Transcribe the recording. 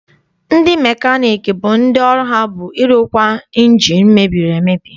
Ndị mekaniiki bụ ndị ọrụ ha bụ ịrụkwa ịnjini mebiri emebi.